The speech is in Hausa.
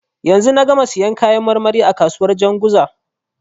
Yanzu na gama siyan kayan marmari a kasuwar Janzuga.